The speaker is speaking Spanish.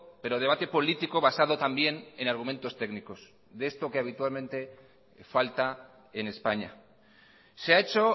pero debate político basado también en argumentos técnicos de esto que habitualmente falta en españa se ha hecho